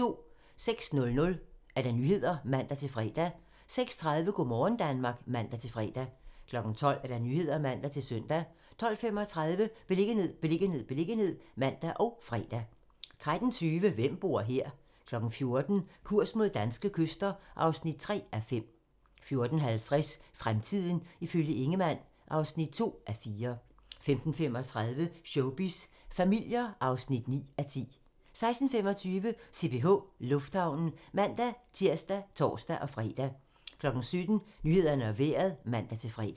06:00: Nyhederne (man-fre) 06:30: Go' morgen Danmark (man-fre) 12:00: Nyhederne (man-søn) 12:35: Beliggenhed, beliggenhed, beliggenhed (man og fre) 13:20: Hvem bor her? 14:00: Kurs mod danske kyster (3:5) 14:50: Fremtiden ifølge Ingemann (2:4) 15:35: Showbiz familier (9:10) 16:25: CPH Lufthavnen (man-tir og tor-fre) 17:00: Nyhederne og Vejret (man-fre)